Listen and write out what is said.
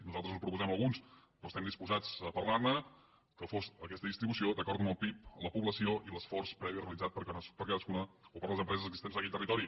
nosaltres en proposem alguns però estem disposats a parlar ne que fos aquesta distribució d’acord amb el pib la població i l’esforç previ realitzat per cadascuna o per les empreses existents en aquell territori